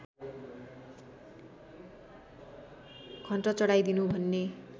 घण्ट चढाइदिनु भन्ने